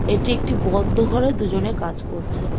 এটি একটি বদ্ধ ঘরে দুজনে কাজ করছে।